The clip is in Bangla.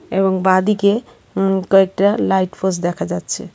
এবং বাঁদিকে উম কয়েকটা লাইট পোষ্ট দেখা যাচ্ছে.